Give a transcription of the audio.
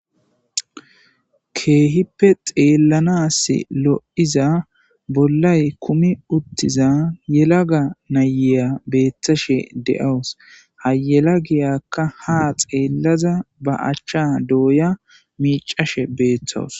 Kehippe xellanasi lo'iza bollayi kumi uttiza yelaga na'iya betashshe de'awus.haa yelagiyakka haa xellada baa acha doyada miccashshe de'aus.